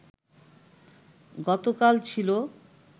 গতকাল ছিল